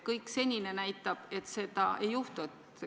Kõik senine näitab, et seda ei juhtu.